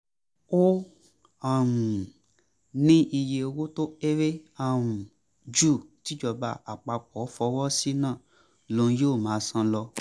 ó um ní iye owó tó kéré um ju tìjọba àpapọ̀ fọwọ́ sí náà lòun yóò máa san lọ